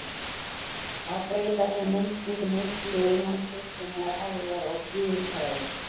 Að breyta þessari mynd skiptir miklu innan kristinnar hefðar og guðfræði.